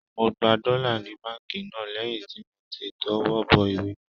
Mo gba dọ́là ni báǹkì náà lẹ́yìn tí mo ti tọwọ́ bọ ìwé náà